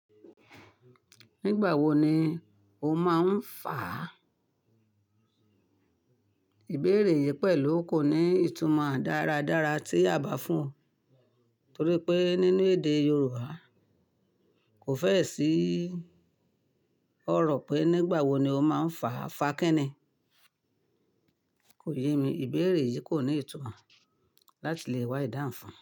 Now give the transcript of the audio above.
Nígbà wo ni o máa ń fà á? Á? Ìbéèrè yìí pẹ̀lú kò ní ìtumọ̀ dáradára tí àbá fún-un, torí pé nínú èdè Yorùbá kò fẹ́ẹ̀ sí ọ̀rọ̀ pé "nígbà wo ni o máa ń fà á?" Fa kí ni. Kò yé mi, ìbéèrè yìí kò ní ìtumọ̀ láti lè wá ìdáhùn fun.